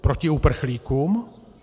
Proti uprchlíkům?